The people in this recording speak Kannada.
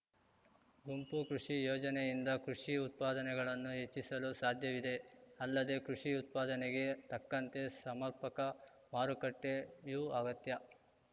ಗುಂಪು ಕೃಷಿ ಯೋಜನೆಯಿಂದ ಕೃಷಿ ಉತ್ಪಾದನೆಗಳನ್ನು ಹೆಚ್ಚಿಸಲು ಸಾಧ್ಯವಿದೆ ಅಲ್ಲದೇ ಕೃಷಿ ಉತ್ಪಾದನೆಗೆ ತಕ್ಕಂತೆ ಸಮರ್ಪಕ ಮಾರುಕಟ್ಟೆಯೂ ಅಗತ್ಯ